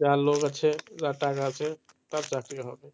যার লোক আছে, যার টাকা আছে তার চাকরি হবে